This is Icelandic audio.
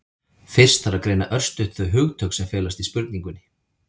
fyrst þarf að greina örstutt þau hugtök sem felast í spurningunni